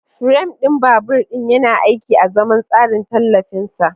Firam ɗin babur ɗin yana aiki azaman tsarin tallafin sa.